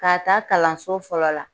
K'a ta kalanso fɔlɔ la